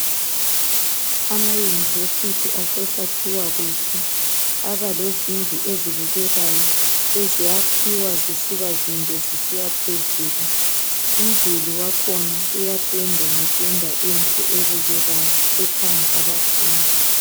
Amayunivesithi asesakhiwa kuhle. Aba lezindlu ezibukekayo eziyakhiwa sisiba zinde zisiyaphezulu, umduli wakhona uyapendwa ngependa enhle ebukekayo ekhanga abafundi.